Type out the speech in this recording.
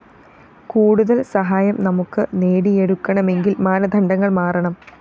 കൂടുതല്‍ സഹായം നമുക്ക്‌ നേടിയെടുക്കണമെങ്കില്‍ മാനദണ്ഡങ്ങള്‍ മാറണം